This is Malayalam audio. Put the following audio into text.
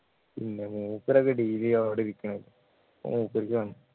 പിന്നെ മൂപ്പരൊക്കെ daily അവിടെ ഇരിക്കണത് അപ്പൊ മൂപ്പരിക്ക് കാണും